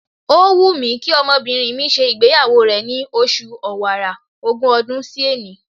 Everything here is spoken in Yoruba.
Ó wù mí kí ọmọbìnrin mi ṣe ìgbéyàwó rẹ̀ ni oṣù Ọ̀wàrà, ogún ọdún sí òní.